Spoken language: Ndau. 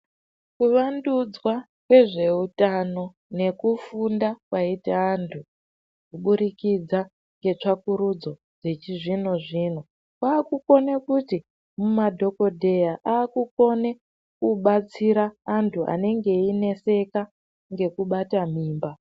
Kuvandudzwa kwezveutano nekufunda kwaite antu kuburikidza ngetsvakurudzo dzechizvino zvino kwakukone kuti mumadhokodheya akukone kubatsira antu anenge eineseka ngekubate mimba.